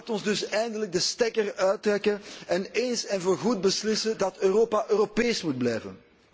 Laat ons dus eindelijk de stekker eruit trekken en eens en vooral beslissen dat Europa Europees moet blijven.